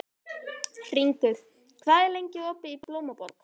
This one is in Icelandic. Hringur, hvað er lengi opið í Blómaborg?